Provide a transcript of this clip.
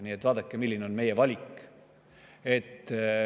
Nii et vaadake, milline on meie valik.